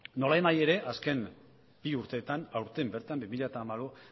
nolanahi ere azken bi urteetan aurten bertan bi mila